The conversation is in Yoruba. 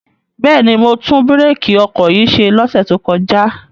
Bẹ́ẹ̀ni, mo tún bírèkì ọkọ̀ yìí ṣe lọ́sẹ̀ tó kọjá.